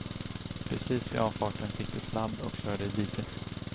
Precis vid avfarten fick de sladd och körde i diket.